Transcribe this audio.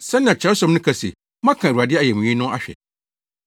Sɛnea Kyerɛwsɛm no ka se, “Moaka Awurade ayamye no ahwɛ.”